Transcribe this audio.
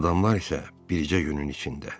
Adamlar isə bircə günün içində.